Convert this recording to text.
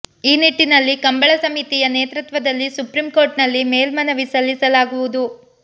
ಈ ನಿಟ್ಟಿನಲ್ಲಿ ಕಂಬಳ ಸಮಿತಿಯ ನೇತೃತ್ವದಲ್ಲಿ ಸುಪ್ರೀಂ ಕೋರ್ಟ್ನಲ್ಲಿ ಮೇಲ್ಮನವಿ ಸಲ್ಲಿಸಲಾಗುವುದು